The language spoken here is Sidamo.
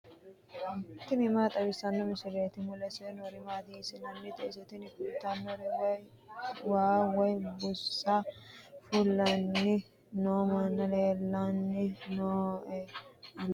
tini maa xawissanno misileeti ? mulese noori maati ? hiissinannite ise ? tini kultannori waa woy buusa fulanni noo manni leellanni nooe anera